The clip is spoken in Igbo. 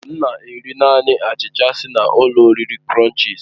M na-eri naanị achicha si na ụlọ oriri krònchis